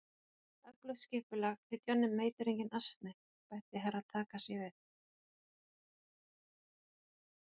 Öflugt skipulag, því Johnny Mate er enginn asni, bætti Herra Takashi við.